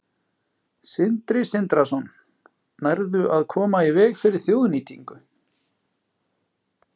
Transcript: Sindri Sindrason: Nærðu að koma í veg fyrir þjóðnýtingu?